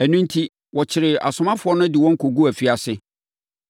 Ɛno enti, wɔkyeree asomafoɔ no de wɔn kɔguu afiase.